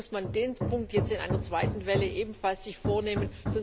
Vielleicht muss man sich den Punkt jetzt in einer zweiten Welle ebenfalls vornehmen.